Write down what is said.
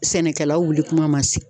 Sɛnɛkɛlaw wuli kuma ma se